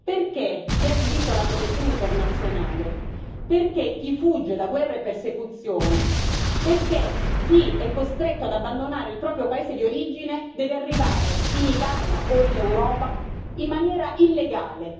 perché chi ha diritto alla protezione internazionale, perché chi fugge da guerre e persecuzioni, perché chi è costretto ad abbandonare il proprio paese di origine deve arrivare in Italia o in Europa in maniera illegale?